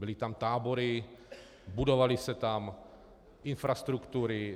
Byly tam tábory, budovaly se tam infrastruktury.